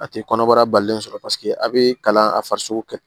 A tɛ kɔnɔbara balimalen sɔrɔ paseke a bɛ kalan a farisogo kɛ